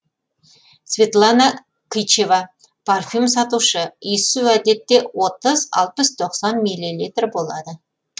светлана кычева парфюм сатушы иіссу әдетте отыз алпыс тоқсан миллилитр болады